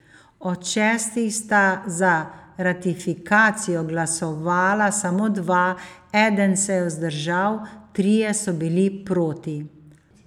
Od šestih sta za ratifikacijo glasovala samo dva, eden se je vzdržal, trije so bili proti.